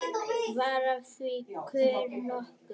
Varð af því kurr nokkur.